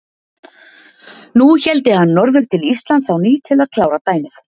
Nú héldi hann norður til Íslands á ný til að klára dæmið.